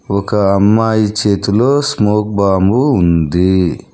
ఒక అమ్మాయి చేతిలో స్మోక్ బాంబు ఉంది.